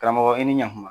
Karamɔgɔ i ni ɲan kuma